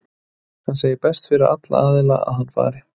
Hann segir best fyrir alla aðila að hann fari.